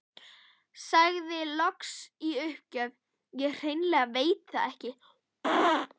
Sagði loks í uppgjöf: Ég hreinlega veit það ekki